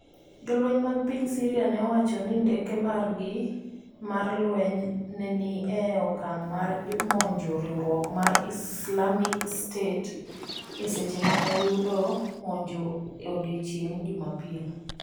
Jolweny mag piny Syria ne owacho ni ndeke margi mar lweny ne ni e okang' mar monjo riwruok mar Islamic State e seche mane oyudo monjo e odiechieng' Jumapil.